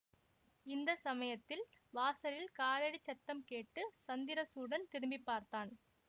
இந்த சமயத்தில் வாசலில் காலடி சத்தம் கேட்டு சந்திரசூடன் திரும்பி பார்த்தான்